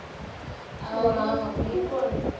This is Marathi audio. Wow! मी पण.